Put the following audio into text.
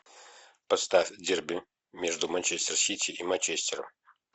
поставь дерби между манчестер сити и манчестером